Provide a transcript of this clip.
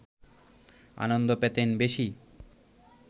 আনন্দ পেতেন বেশি